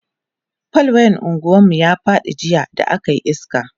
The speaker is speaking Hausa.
fal wayan unguwan mu ya Faɗi jiya da akayi iska